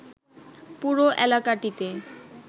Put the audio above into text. পুরো এলাকাটিতে